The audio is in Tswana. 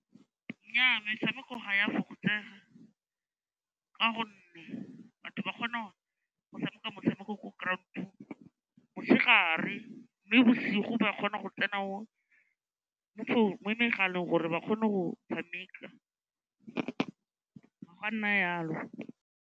Nnyaa, metshameko ga e a fokotsega ka gonne batho ba kgona go tshameka motshameko ko ground-ong motshegare mme bosigo ba kgona go tsena mo megaleng gore ba kgone go tshameka, ga go a nna jalo.